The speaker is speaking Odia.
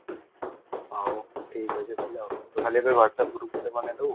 ହାଉ ଥିକ ଅଛି ତାହେଲେ ତୁ ଖାଲି ଏବେ whatsapp ଗ୍ରୁପ ରେ ପଠେଇଦବୁ |